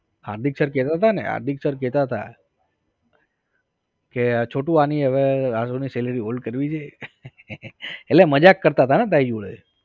હાર્દિક sir કેતા તા ને હાર્દિક sir કેતા તા કે છોટુ આની હવે આગળ ની salary hold કરવી છે એટલે મજાક કરતા તા ને તારી જોડે